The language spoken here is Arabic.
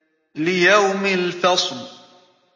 لِيَوْمِ الْفَصْلِ